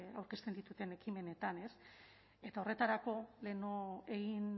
aurkezten ditudan ekimenetan ez eta horretarako lehenago